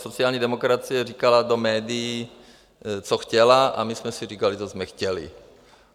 Sociální demokracie říkala do médií, co chtěla, a my jsme si říkali, co jsme chtěli.